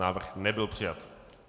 Návrh nebyl přijat.